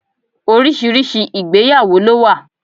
Oríṣiríṣi ìgbéyàwó lo wa